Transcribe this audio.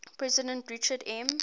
president richard m